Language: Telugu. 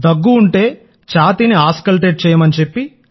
దగ్గు ఉంటే ఛాతీని ఆస్కల్టేట్ చేయమని చెప్తాం